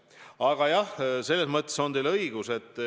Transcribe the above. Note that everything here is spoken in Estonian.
Aga jah, teil on õigus.